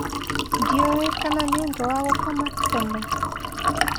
Ndiũĩ kana nĩũndũ wa gũkoma tene?